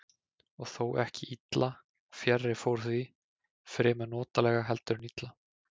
Og þó ekki illa, fjarri fór því, fremur notalega heldur en illa.